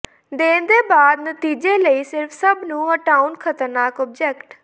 ਦੇਣ ਦੇ ਬਾਅਦ ਨਤੀਜੇ ਲਈ ਸਿਰਫ਼ ਸਭ ਨੂੰ ਹਟਾਉਣ ਖ਼ਤਰਨਾਕ ਆਬਜੈਕਟ